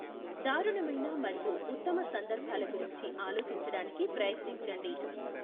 దారుణమైన మరియు ఉత్తమ సందర్భాల గురించి ఆలోచించడానికి ప్రయత్నించండి.